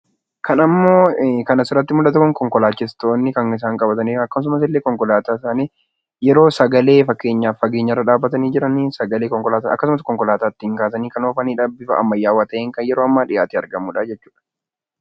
Fakkii kana irratti kan argamu fageettoo konkolaataati. Fageettoon kunis konkolaataa fageenya irra dhaabachuun to'achuuf gargaara. yeroo ammaa bifa ammaayyaa ta'een dhiyaatee kan argamudha.